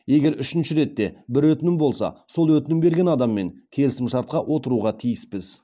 егер үшінші рет те бір өтінім болса сол өтінім берген адаммен келісімшартқа отыруға тиіспіз